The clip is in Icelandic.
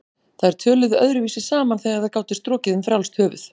Þær töluðu öðruvísi saman þegar þær gátu strokið um frjálst höfuð.